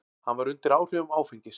Hann var undir áhrifum áfengis.